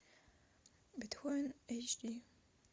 бетховен эйч ди